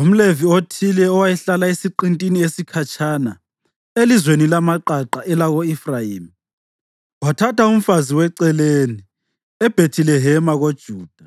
UmLevi othile owayehlala esiqintini esikhatshana, elizweni lamaqaqa elako-Efrayimi wathatha umfazi weceleni eBhethilehema koJuda.